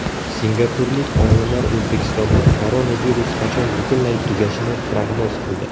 Singapurlik olimlar O‘zbekistonda koronavirus qachon butunlay tugashini prognoz qildi.